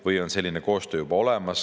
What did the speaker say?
Või on selline koostöö juba olemas?